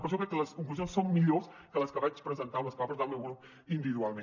per això crec que les conclusions són millors que les que va presentar el meu grup individualment